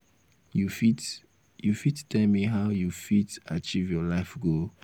you fit you fit tell me how you fit achieve your life goal?